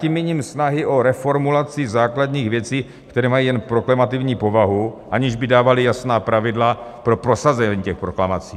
Tím míním snahy o reformulaci základních věcí, které mají jen proklamativní povahu, aniž by dávaly jasná pravidla pro prosazení těch proklamací.